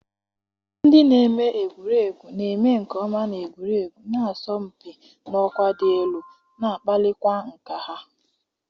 Ndị na-eme egwuregwu na-eme nke ọma n'egwuregwu, na-asọmpi n'ọkwa dị elu, na-akpalikwa nkà ha.